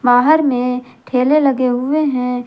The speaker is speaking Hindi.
बाहर में ठेले लगे हुए है।